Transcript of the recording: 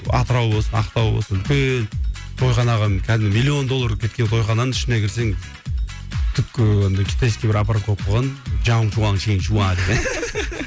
атырау болсын ақтау болсын үлкен тойханаға кәдімгі миллион доллар кеткен тойхананың ішіне кірсең түпке андай китайский бір аппарат койып қойған